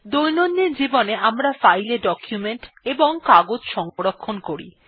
দৈনন্দিন জীবনে আমরা ফাইল এ ডকুমেন্ট এবং কাগজ সংরক্ষণ করি